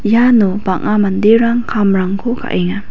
iano bang·a manderang kamrangko ka·enga.